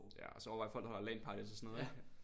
Ja så må man i hvert fald holde LAN parties og sådan noget ik